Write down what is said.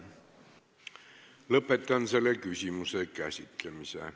Lõpetan selle küsimuse käsitlemise.